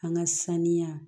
An ka saniya